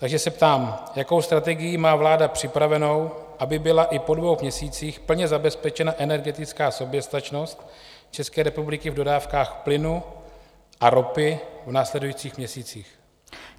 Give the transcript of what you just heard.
Takže se ptám: Jakou strategii má vláda připravenu, aby byla i po dvou měsících plně zabezpečena energetická soběstačnost České republiky v dodávkách plynu a ropy v následujících měsících?